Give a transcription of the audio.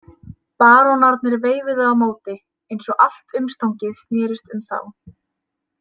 Barónarnir veifuðu á móti, eins og allt umstangið snerist um þá.